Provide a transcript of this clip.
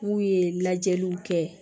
N'u ye lajɛliw kɛ